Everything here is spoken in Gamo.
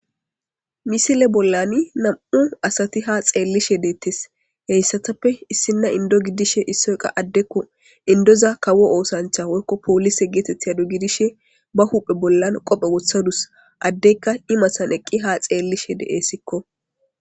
Missile bollan nam'u asati ha xeelishe dettes hessatappe issiniya inddo giidishin issoy qa addekko inddoza kawo oththancha woykko poolise gettetiya nu giidishin ba huphphe bollan qoppe woththadusu addeyka i mattan eqqi ha xellishe de'essiko.